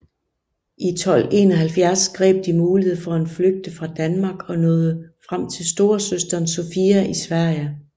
I 1271 greb de muligheden for at flygte fra Danmark og nåede frem til storesøsteren Sofia i Sverige